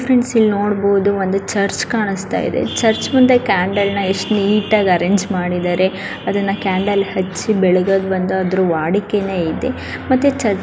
ಇಲ್ಲಿ ನೋಡಬಹುದು ಚರ್ಚ್ ಕಾಣುತ್ತಿದೆ ಚರ್ಚ್ ಮುಂದೆ ಕ್ಯಾಂಡಲ್ ನೈಟ್ಗಂಎಂಟುಟೆಗೆ ಅರೇಂಜ್ ಮಾಡಿದರೆ ಅದನ್ನು ಕ್ಯಾಂಡಲ್ ಹಚ್ಚಿ ಬೆಳಿಗ್ಗೆ ಬಂದು ವಾಡಿಕೆ ಇದೆ. ಮತ್ತೆ ಚರ್ಚೆ --